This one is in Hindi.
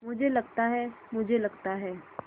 मुझे लगता है मुझे लगता है